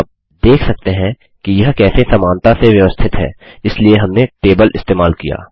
आप देख सकते हैं कि यह कैसे समानता से व्यवस्थित है इसलिए हमने टेबल इस्तेमाल किया